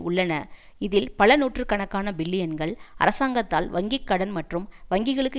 உள்ளன இதில் பல நூற்று கணக்கான பில்லியன்கள் அரசாங்கத்தால் வங்கி கடன் மற்றும் வங்கிகளுக்கு